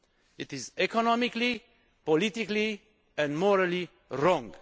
It is economically, politically and morally wrong.